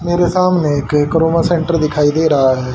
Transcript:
मेरे सामने एक कोरोना सेंटर दिखाई दे रहा है।